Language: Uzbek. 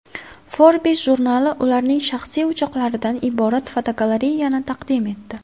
Forbes jurnali ularning shaxsiy uchoqlaridan iborat fotogalereyani taqdim etdi .